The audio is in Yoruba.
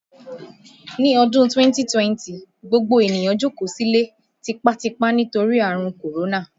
Ní ọdún 2020, gbogbo ènìyàn jókòó sílé tipátipá nítorí àrùn Kòrónà